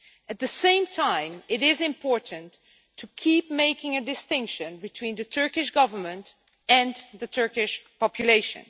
At the same time, it is important to keep making a distinction between the Turkish Government and the Turkish population.